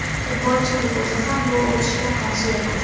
Futbolchining o‘zi ham bu o‘tishga qarshi emas.